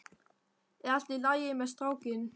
Er allt í lagi með strákinn?